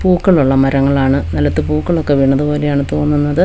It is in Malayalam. പൂക്കൾ ഉള്ള മരങ്ങളാണ് നിലത്ത് പൂക്കളൊക്കെ വീണത് പോലെയാണ് തോന്നുന്നത്.